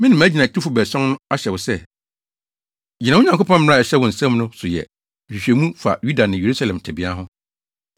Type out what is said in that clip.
Me ne mʼagyinatufo baason no ahyɛ wo sɛ, gyina wo Nyankopɔn mmara a ɛhyɛ wo nsam no so yɛ nhwehwɛmu fa Yuda ne Yerusalem tebea ho.